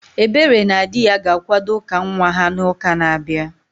Ebere na dị ya ga-akwado ụka nwa ha n'uka na-abịa